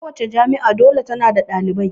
Kowace jami'a dole ta na da ɗalibai